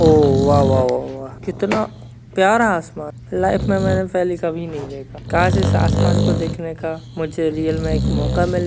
वो वाह वाह वाह कितना प्यारा आसमान लाइफ मैंने कभी नहीं देखा काश इस आसमान को देखने का रियल में एक मौका मिले--